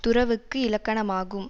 துறவுக்கு இலக்கணமாகும்